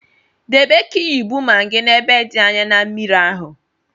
Debe kiyubu maggi n'ebe dị anyaa na mmiri ahụ